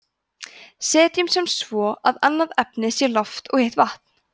setjum sem svo að annað efnið sé loft og hitt vatn